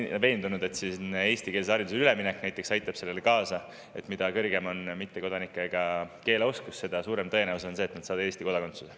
Ma olen veendunud, et näiteks eestikeelsele haridusele üleminek aitab sellele kaasa, sest mida on mittekodanike keeleoskus, seda suurem on tõenäosus, et nad saavad Eesti kodakondsuse.